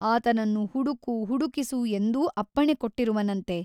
ಆತನನ್ನು ಹುಡುಕು ಹುಡುಕಿಸು ಎಂದೂ ಅಪ್ಪಣೆ ಕೊಟ್ಟಿರುವನಂತೆ.